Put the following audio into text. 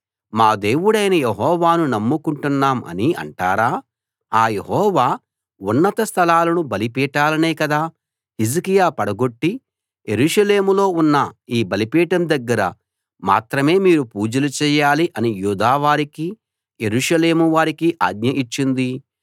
మా దేవుడైన యెహోవాను నమ్ముకుంటున్నాం అని అంటారా ఆ యెహోవా ఉన్నత స్థలాలను బలిపీఠాలనే కదా హిజ్కియా పడగొట్టి యెరూషలేములో ఉన్న ఈ బలిపీఠం దగ్గర మాత్రమే మీరు పూజలు చేయాలి అని యూదావారికి యెరూషలేము వారికి ఆజ్ఞ ఇచ్చింది